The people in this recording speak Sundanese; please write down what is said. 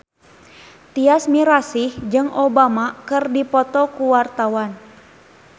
Tyas Mirasih jeung Obama keur dipoto ku wartawan